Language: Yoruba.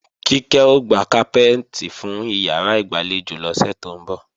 Kíkẹ́ ó pe káfíntá fún ìyàrá ìgbàlejò lọ́sẹ̀ tó ń bọ̀